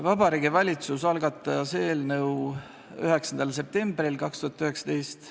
Vabariigi Valitsus algatas eelnõu 9. septembril 2019.